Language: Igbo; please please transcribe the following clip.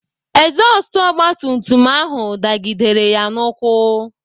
Ezọstụ ogbatumtum ahụ dagidere ya n'ụkwụ.